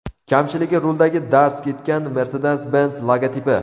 Kamchiligi ruldagi darz ketgan Mercedes-Benz logotipi.